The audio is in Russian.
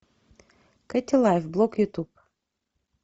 кэти лайф блог ютуб